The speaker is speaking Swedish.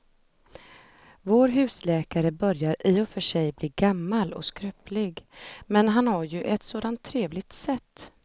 Vår husläkare börjar i och för sig bli gammal och skröplig, men han har ju ett sådant trevligt sätt!